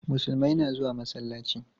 Musulmai na zuwa masallaci.